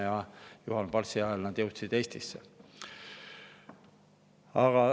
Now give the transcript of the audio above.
Ja Juhan Partsi ajal nad jõudsid Eestisse.